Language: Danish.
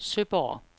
Søborg